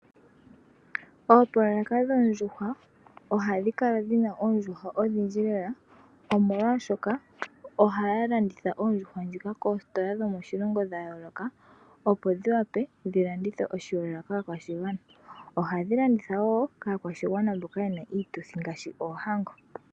Oopoloyeka dhoondjuhwa ohadhi kala dhina oondjuhwa odhindji lela omolwashoka ohaya landitha oondjuhwa dhika koositola dhomoshilongo dhayooloka opo dhiwape dhilandithwe oshihelelwa kaakwashigwana. Ohadhi landithwa wo kaakwashigwana mboka yena iituthi ngaashi oohango.